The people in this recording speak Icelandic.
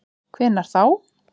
Hvenær þá?